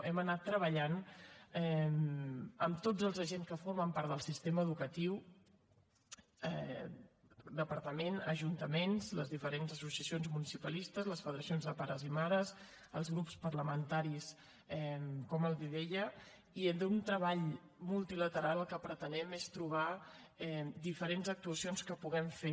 hem anat treballant amb tots els agents que formen part del sistema educatiu departament ajuntaments les diferents associacions municipalistes les federacions de pares i mares els grups parlamentaris com els deia i amb un treball multilateral el que pretenem és trobar diferents actuacions que puguem fer